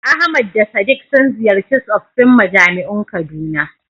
Ahmad da Sadiq sun ziyarci tsoffin majami'un Kaduna.